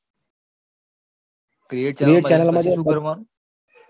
create channel માં જઈને શું કરવાનું